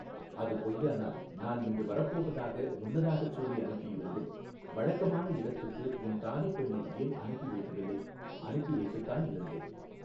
அது பொய்யானால் நான் இன்று வரப்போவதாக முன்னதாகச் சொல்லி அனுப்பியிருந்தும் வழக்கமான இடத்துக்கு உன் தாதிப் பெண்ணை ஏன் அனுப்பி வைக்கவில்லை அனுப்பி வைத்துத்தான் இருந்தேன்.